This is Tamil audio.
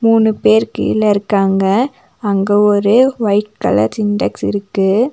மூணு பேரு கீழ இருக்காங்க அங்க ஒரு ஒயிட் கலர் சின்டெக்ஸ் இருக்கு.